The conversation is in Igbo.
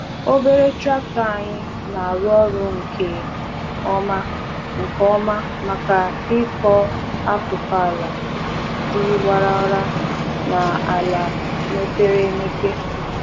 Obere traktọ anyị na-arụ ọrụ nke ọma nke ọma maka ịkọ akụkụ ala dị warara na ala mepere emepe.